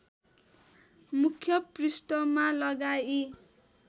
मुख्य पृष्ठमा लगाई